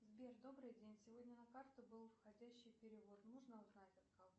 сбер добрый день сегодня на карту был входящий перевод можно узнать от кого